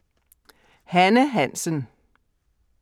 Hanne Hansen